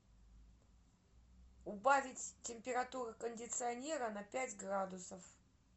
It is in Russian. убавить температуру кондиционера на пять градусов